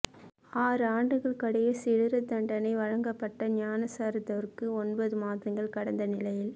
ஆறு ஆண்டுகள் கடூழிய சிறைத்தண்டனை வழங்கப்பட்ட ஞானசார தேரருக்கு ஒன்பது மாதங்கள் கடந்த நிலையில்